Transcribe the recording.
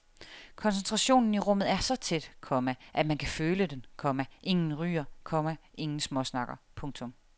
Koncentrationen i rummet er så tæt, komma at man kan føle den, komma ingen ryger, komma ingen småsnakker. punktum